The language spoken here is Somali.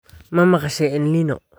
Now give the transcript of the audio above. Ma maqashay El Nino?